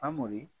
Famori